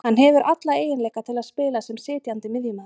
Hann hefur alla eiginleika til að spila sem sitjandi miðjumaður